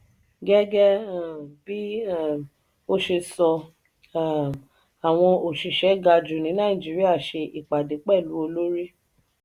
gẹgẹ um bí um o ṣe sọ um àwọn òṣìṣẹ́ ga jù ní nàìjíríà ṣe ìpàdé pẹlu olórí.